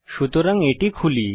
সুতরাং এটি খুলি